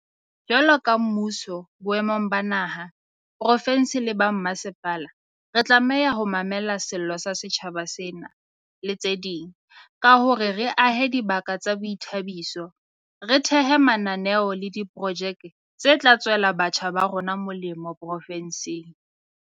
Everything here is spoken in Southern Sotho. Jwalo ka mmuso boemong ba naha, profensi le ba mmasepala, re tlameha ho mamela sello sa setjhaba sena, le tse ding, ka hore re ahe dibaka tsa boithabiso, re thehe le mananeo le diprojeke tse tla tswela batjha ba rona molemo profensing.